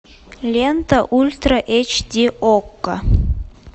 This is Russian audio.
лента ультра эйч ди окко